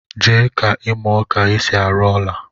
Jee ka imuo ka esi arụ ọla